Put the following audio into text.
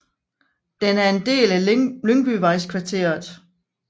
Den er en del af Lyngbyvejskvarteret